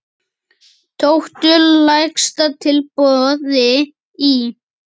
Tóku lægsta tilboði í.